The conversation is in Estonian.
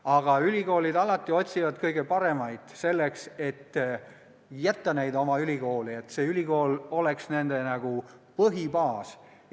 Aga ülikoolid otsivad alati kõige paremaid, sooviga jätta nad oma ülikooli, et see ülikool oleks neile nagu põhibaas.